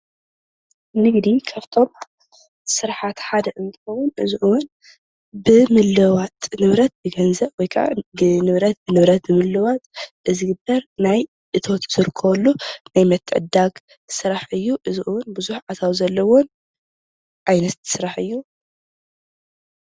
ንግዲ ካብቶም ስራሓት ሓደ እንትኸውን እዚ እውን ብምልውዋጥ ንብረት፣ ብገንዘብ ወይ ከዓ ብንብረት፣ ንብረት ብምልውዋጥ ዝገበር እቶት ዝርከበሉ ናይ ምትዕድዳግ ስራሕ እዩ፡፡ እዚ እውን ብዙሕ ኣታዊ ዘለዎ ዓይነት ስራሕ እዩ፡፡